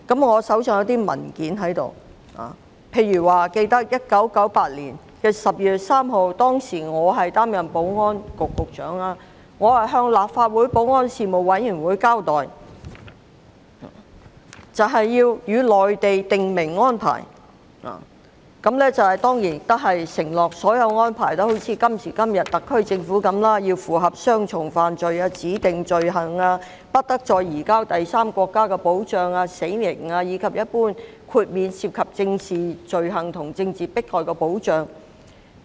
我手邊有些文件，記得在1998年12月3日，當時我作為保安局局長，向立法會保安事務委員會交代與內地訂明安排，當然承諾所有安排也一如今天特區政府的一樣，要符合雙重犯罪、指定罪行、不得再移交第三國家的保障、死刑，以及一般豁免涉及政治罪行和政治迫害的保障。